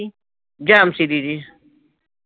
ਜੈਮਸੀ ਦੀਦੀ